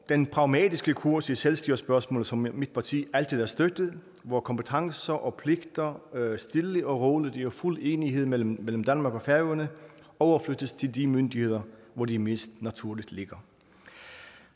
den pragmatiske kurs i selvstyrespørgsmålet som mit parti altid har støttet hvor kompetencer og pligter stille og roligt og i fuld enighed mellem danmark og færøerne overflyttes til de myndigheder hvor de mest naturligt ligger